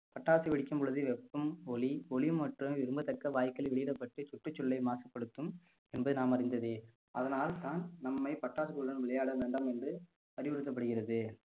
பட்டாசு வெடிக்கும் பொழுது வெப்பம் ஒலி ஒலி மற்றும் விரும்பத்தக்க வாயுக்களால் வெளியிடப்பட்டு சுற்றுச் சூழலை மாசுபடுத்தும் என்பதை நாம் அறிந்ததே அதனால்தான் நம்மை பட்டாசுகளுடன் விளையாட வேண்டாம் என்று அறிவுறுத்தப்படுகிறது